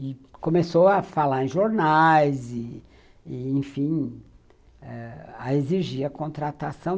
E começou a falar em jornais e,enfim, a exigir a contratação.